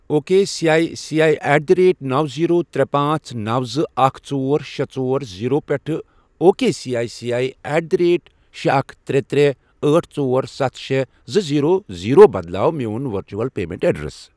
O K C I C I at the rate نوَ، zero, ترے، پانژھ، نوَ، زٕ، اکھ، ژور، شے، ژور ر، زیٖرو، پٮ۪ٹھٕ O K C I C I at the rate شے، اکھ، ترے، ترے، أٹھ، ژۄر، ستھَ، شے، زٕ، زیٖرو، زیٖرو، بدلاو میون ورچول پیمنٹ ایڈریس۔